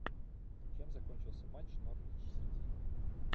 чем закончился матч норвич сити